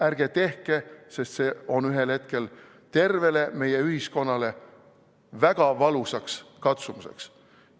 Ärge tehke, sest see on ühel hetkel tervele meie ühiskonnale väga valusaks katsumuseks.